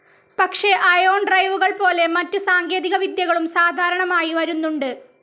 പക്ഷെ അയോൺ ഡ്രൈവുകൾ പോലെ മറ്റു സാങ്കേതികവിദ്യകളും സാധാരണമായി വരുന്നുണ്ട്.